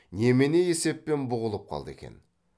немене есеппен бұғып қалды екен